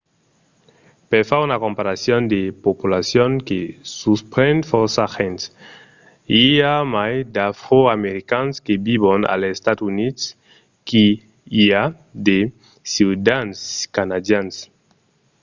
per far una comparason de populacion que suspren fòrça gents: i a mai d’afroamericans que vivon als estats units que i a de ciutadans canadians